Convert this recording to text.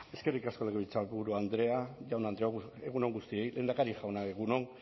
eskerrik asko legebiltzarburu andrea jaun andreok egun on guztioi lehendakari jauna egun on